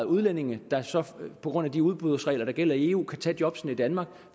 udlændinge der så på grund af de udbudsregler der gælder i eu kan tage jobbene i danmark